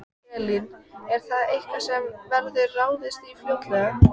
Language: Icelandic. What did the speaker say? Elín: Er það eitthvað sem verður ráðist í fljótlega?